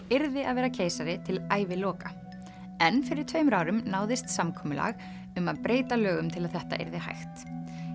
yrði að vera keisari til æviloka en fyrir tveimur árum náðist samkomulag um að breyta lögum til að þetta yrði hægt